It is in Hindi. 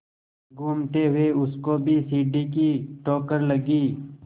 घूमते हुए उसको भी सीढ़ी की ठोकर लगी